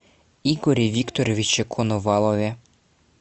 игоре викторовиче коновалове